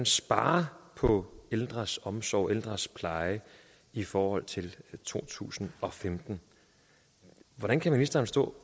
sparer på ældres omsorg og ældres pleje i forhold til to tusind og femten hvordan kan ministeren stå